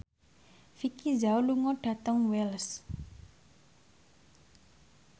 Vicki Zao lunga dhateng Wells